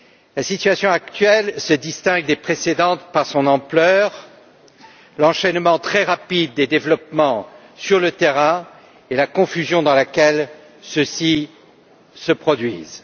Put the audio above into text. La situation actuelle se distingue des précédentes par son ampleur, l'enchaînement très rapide des développements sur le terrain et la confusion dans laquelle ceux ci se produisent.